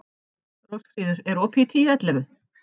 Rósfríður, er opið í Tíu ellefu?